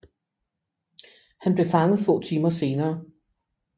Han blev fanget få timer senere